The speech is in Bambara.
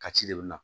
Ka ci de bɛ na